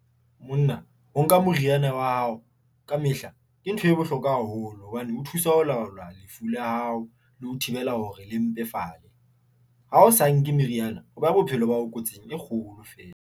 Monna o nka moriana wa hao ka mehla. Ke ntho e bohlokwa haholo hobane ho thusa ho laolwa lefu la hao le ho thibela hore le mpefale. Ha o sa nke meriana, o beha bophelo ba hao kotsing e kgolo fela.